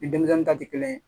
Ni denmisɛnnin ta tɛ kelen ye